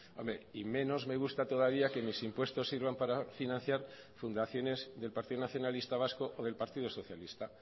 hombre y menos me gusta todavía que mis impuestos sirvan para financiar fundaciones del partido nacionalista vasco o del partido socialista